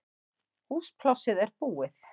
Húsplássið er búið